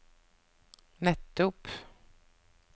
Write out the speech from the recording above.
nettopp